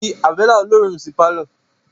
Fí abẹ́lẹ́ olóòórún sí pálọ̀